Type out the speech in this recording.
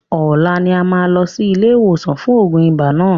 Ọlá ni a máa lọ sí ilé ìwòsàn fún oògùn ibà náà.